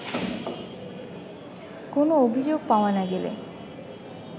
কোনো অভিযোগ পাওয়া না গেলে